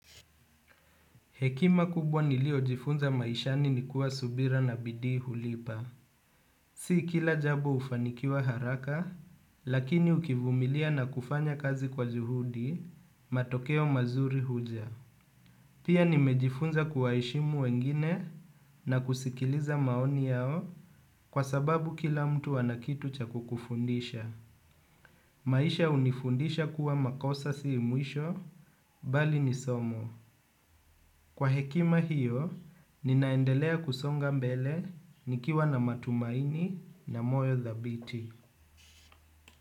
Hekima kubwa nilio jifunza maishani ni kuwa subira na bidii hulipa. Si kila jambo hufanikiwa haraka, lakini ukivumilia na kufanya kazi kwa juhudi matokeo mazuri huja. Pia nimejifunza kuwaheshimu wengine na kusikiliza maoni yao kwa sababu kila mtu ana kitu cha kukufundisha. Maisha hunifundisha kuwa makosa si mwisho, bali ni somo. Kwa hekima hiyo, nina endelea kusonga mbele nikiwa na matumaini na moyo dhabiti.